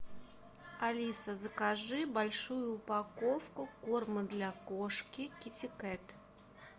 алиса закажи большую упаковку корма для кошки китикет